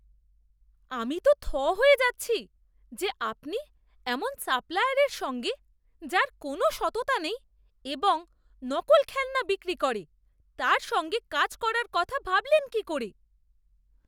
আমি তো থ হয়ে যাচ্ছি যে আপনি এমন সাপ্লায়ারের সঙ্গে, যার কোনও সততা নেই এবং নকল খেলনা বিক্রি করে, তার সঙ্গে কাজ করার কথা ভাবলেন কী করে!